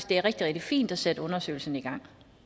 det er rigtig rigtig fint at sætte undersøgelsen i gang